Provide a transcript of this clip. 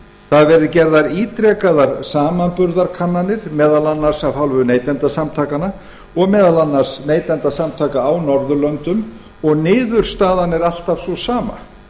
það hafa verið gerðar ítrekaðar samanburðarkannanir meðal annars af hálfu neytendasamtakanna og meðal annars neytendasamtaka á norðurlöndum og niðurstaðan er alltaf sú sama